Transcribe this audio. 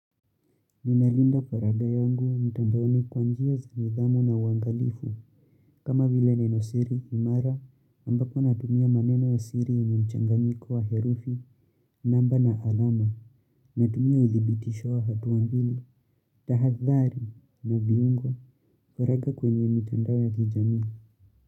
Ninalinda faraga yangu mtandaoni kwa njia za nidhamu na uangalifu kama vile neno siri, imara ambapo natumia maneno ya siri ya mchanganyiko wa herufi, namba na alama, natumia uthibitisho wa hatua mbili, tahathari na viungo, faraga kwenye mtandao ya kijamii.